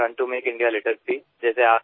Elan ৰুণ ত make India litre Free